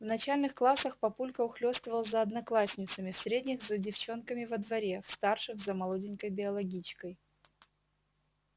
в начальных классах папулька ухлёстывал за одноклассницами в средних за девчонками во дворе в старших за молоденькой биологичкой